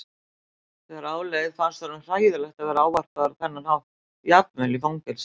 Þegar á leið fannst honum hræðilegt að vera ávarpaður á þennan hátt jafnvel í fangelsi.